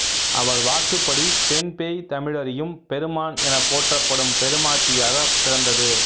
அவர் வாக்குப்படி பெண்பேய் தமிழறியும் பெருமான் எனப் போற்றப்படும் பெருமாட்டியாகப் பிறந்தது